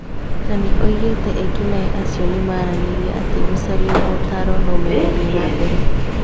Nanĩ oigĩte ekinaĩ acio nĩmaranĩirie atĩ gũcario mootaro no megũthiĩ na mbere